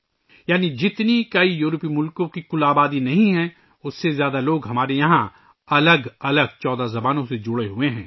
یعنی جتنے یورپی ممالک کی کل آبادی نہیں ہے، اس سے زیادہ لوگ ہمارے ملک میں 14 مختلف زبانوں سے وابستہ ہیں